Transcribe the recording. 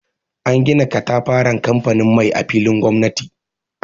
An gina katafaren kamfanin mai a filin gomnati.